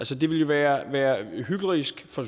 så det ville være være hyklerisk fra